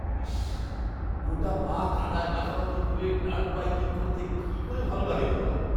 ইস! গোটা পা কাদায় মাখামাখি করে ডার্ট বাইকিং করতে কি করে ভালো লাগে তোমার?